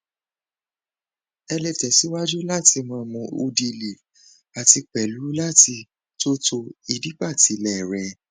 ẹ lè tẹsíwájú láti máa mún udiliv àti pẹlú láti tótó ìdípatílẹ rè